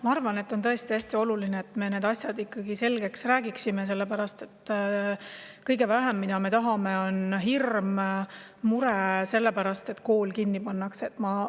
Ma arvan, et on tõesti hästi oluline, et me need asjad selgeks räägiksime, sellepärast et kõige vähem me tahame seda, et oleks hirm ja mure selle pärast, et kool pannakse kinni.